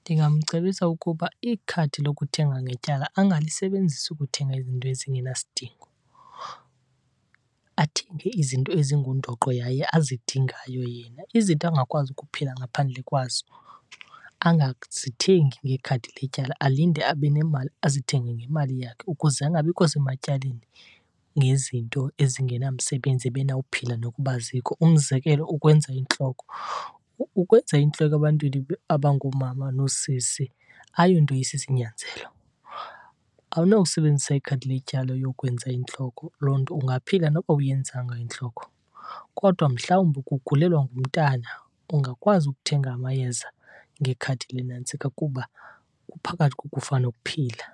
Ndingamcebisa ukuba ikhadi lokuthenga ngetyala angalisebenzisi ukuthenga izinto ezingenasidingo, athenge izinto ezingundoqo yaye azidingayo yena. Izinto angakwazi ukuphila ngaphandle kwazo angazithengi ngekhadi letyala, alinde abe nemali azithenge ngemali yakhe ukuze angabikho sematyaleni ngezinto ezingenamsebenzi ebenawuphila nokuba azikho. Umzekelo, ukwenza intloko. Ukwenza intloko ebantwini abangoomama nosisi ayonto isisinyanzelo. Awunosebenzisa ikhadi letyala uyokwenza intloko, loo nto ungaphila noba awuyenzanga intloko. Kodwa mhlawumbi ukugulelwa ngumntana ungakwazi ukuthenga amayeza ngekhadi lenantsika kuba kuphakathi kokufa nokuphila.